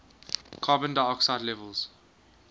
carbon dioxide levels